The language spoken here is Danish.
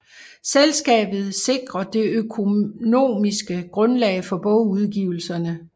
Selskabet sikrer det økonomiske grundlag for bogudgivelserne